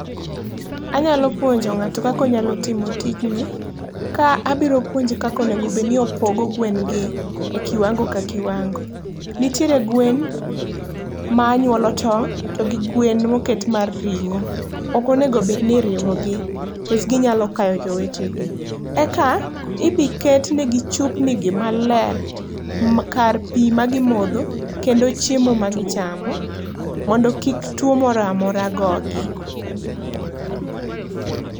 Anyalo puonjo ng'ato kaka onyalo timo tijni ka abiro puonje kaka onego obed ni opogo gwen gi e kiwango ka kiwango. Nitiere gwen ma nyuolo tong' to gi gwen ma oket mar ringo, ok onego obed ni iriwo gi nikech ginyalo kayo jowetegi. Eka ibi ketnegi chupnigi maler kar pii ma gi modho kendo chiemo ma gichamo mondo kik tuo moro amora go gi.